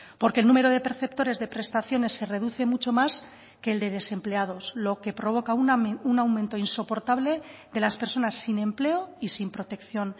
porque el número de perceptores de prestaciones se reduce mucho más que el de desempleados lo que provoca un aumento insoportable de las personas sin empleo y sin protección